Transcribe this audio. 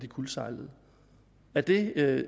kuldsejlet er det